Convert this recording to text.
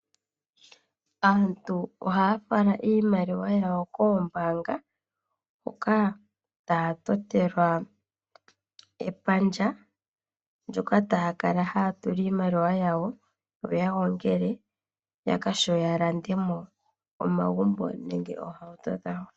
Aantu ohaya fala iimaliwa koombaanga hoka taya tamekelwa epandja ndjoka taya kala haya tula iimaliwa yo ya gongele ya vule okulanda omagumbo gawo nenge oohauto dhawo.